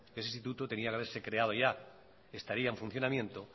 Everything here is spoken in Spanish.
ese instituto tenía que haberse creado ya estaría en funcionamiento